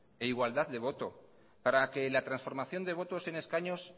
e igualdad de voto para que la transformación de votos en escaños